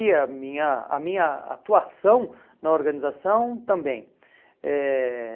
E a minha a minha atuação na organização também. Eh